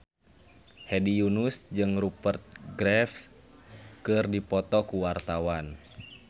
Hedi Yunus jeung Rupert Graves keur dipoto ku wartawan